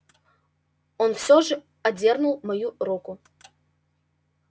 но всё же он отдёрнул свою руку